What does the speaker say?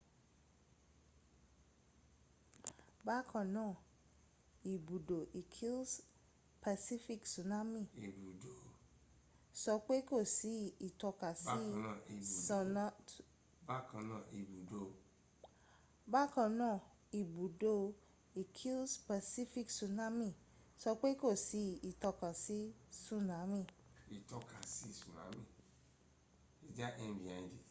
bákanáà ibùdó ìkìls pacific tsunami sọ pé kò sí ìtọ́kasí tsunami